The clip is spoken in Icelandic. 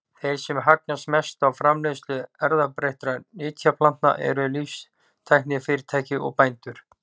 Þeir sem hagnast mest á framleiðslu erfðabreyttra nytjaplantna eru líftæknifyrirtæki og bændur.